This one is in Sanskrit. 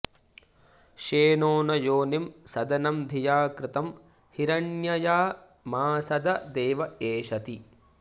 श्ये॒नो न योनिं॒ सद॑नं धि॒या कृ॒तं हि॑र॒ण्यय॑मा॒सदं॑ दे॒व एष॑ति